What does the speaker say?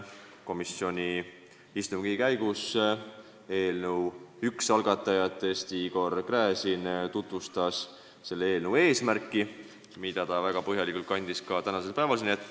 Komisjoni istungi käigus tutvustas eelnõu üks algatajatest Igor Gräzin selle eelnõu eesmärki, mille ta väga põhjalikult kandis ette ka tänasel päeval siin.